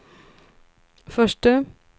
förste